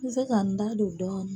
N bɛ se ka n da don dɔ